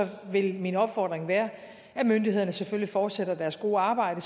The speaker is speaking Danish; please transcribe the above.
vil min opfordring være at myndighederne selvfølgelig fortsætter deres gode arbejde